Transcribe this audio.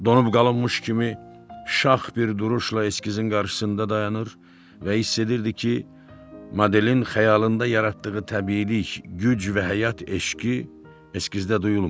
Donub qalınmış kimi şax bir duruşla eskizin qarşısında dayanır və hiss edirdi ki, modelin xəyalında yaratdığı təbiilik, güc və həyat eşqi eskizdə duyulmur.